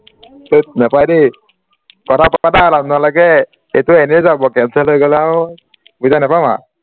থেত নাপাই দেই পাতা এইটো এনে যাব cancel হৈ গলে আৰু পইচা নাপাম আ